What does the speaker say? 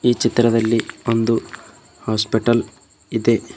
ಈ ಚಿತ್ರದಲ್ಲಿ ಒಂದು ಹಾಸ್ಪಿಟಲ್ ಇದೆ.